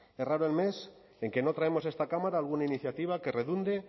es raro el mes en que no traemos a esta cámara alguna iniciativa que redunde